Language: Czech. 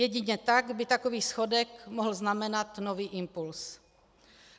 Jedině tak by takový schodek mohl znamenat nový impuls.